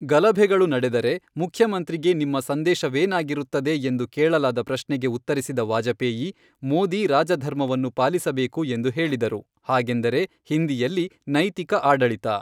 ಗಲಭೆಗಳು ನಡೆದರೆ ಮುಖ್ಯಮಂತ್ರಿಗೆ ನಿಮ್ಮ ಸಂದೇಶವೇನಾಗಿರುತ್ತದೆ ಎಂದು ಕೇಳಲಾದ ಪ್ರಶ್ನೆಗೆ ಉತ್ತರಿಸಿದ ವಾಜಪೇಯಿ, ಮೋದಿ ರಾಜಧರ್ಮವನ್ನು ಪಾಲಿಸಬೇಕು ಎಂದು ಹೇಳಿದರು, ಹಾಗೆಂದರೆ, ಹಿಂದಿಯಲ್ಲಿ, ನೈತಿಕ ಆಡಳಿತ.